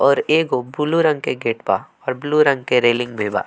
और एगो ब्लू रंग के गेट बा और ब्लू रंग के रेलिंग भी बा।